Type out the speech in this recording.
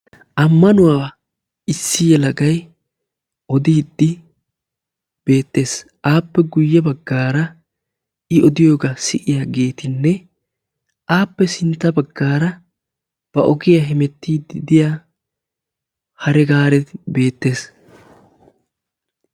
ammanuwaa issi yelagay odiidi beetessi aapekka sintta bagara hemettidi de"iya hare gaarekka beetessi.